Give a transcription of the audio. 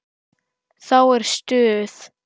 Þá er stuð.